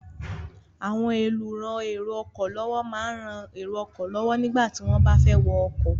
Àwọn olùran èrò ọkọ̀ lọ́wọ́ máa ń rán èrò ọkọ̀ lọ́wọ́ nígbà tí wọ́n bá fẹ́ wọ ọkọ̀.